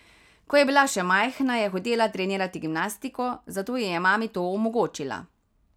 Ko je bila še majhna, je hotela trenirati gimnastiko, zato ji je mami to omogočila.